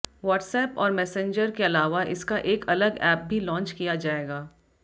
WhatsApp और Messenger के अलावा इसका एक अलग एप भी लॉन्च किया जाएगा